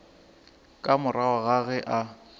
ka morago ga ge a